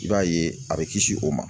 I b'a ye a bɛ kisi o ma